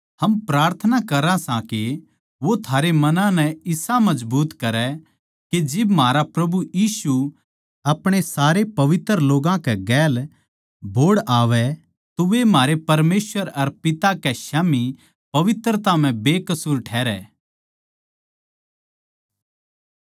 हम प्रार्थना करां सां के वो थारे मनां नै इसा मजबूत करै के जिब म्हारा प्रभु यीशु अपणे सारे पवित्र लोगां कै गेल बोहड़ आवै तो वे म्हारे परमेसवर अर पिता कै स्याम्ही पवित्रता म्ह बेकसूर ठहरै